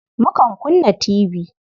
Mukan kunna tibi.